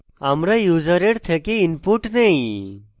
আমরা ইউসারের থেকে input নেই